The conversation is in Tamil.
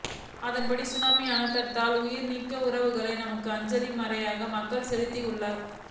அதன்படி சுனாமி அனர்த்தத்தால் உயிர்நீத்த உறவுகளுக்கு தமது அஞ்சலியை மலையக மக்களும் செலுத்தியுள்ளனர்